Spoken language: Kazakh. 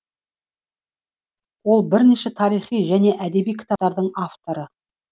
ол бірнеше тарихи және әдеби кітаптардың авторы